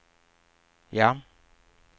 ja